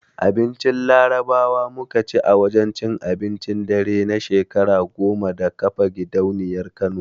Abincin Larabawa muka ci a wajen cin abincin dare na shekara goma da kafa gidauniyar Kano.